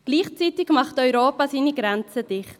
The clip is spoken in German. Gleichzeitig macht Europa die Grenzen dicht.